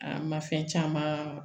An ma fɛn caman